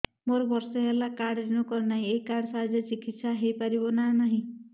ମୋର ବର୍ଷେ ହେଲା କାର୍ଡ ରିନିଓ କରିନାହିଁ ଏହି କାର୍ଡ ସାହାଯ୍ୟରେ ଚିକିସୟା ହୈ ପାରିବନାହିଁ କି